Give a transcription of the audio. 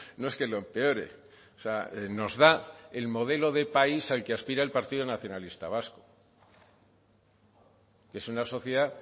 no es que lo empeore o sea nos da el modelo de país al que aspira el partido nacionalista vasco y es una sociedad